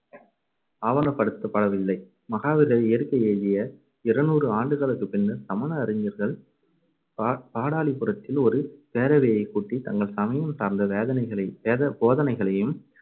ஆவணப்படுத்தப்படவில்லை. மகாவீரர் இயற்கை எய்திய இருநூறு ஆண்டுகளுக்குப் பின்னர், சமண அறிஞர்கள் பா~ பாடாலிபுரத்தில் ஒரு பேரவையைக் கூட்டித் தங்கள் சமயம் சார்ந்த வேதனைகளை~ வேத~ போதனைகளையும்